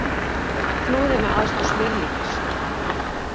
Flúði með aðstoð smjörlíkis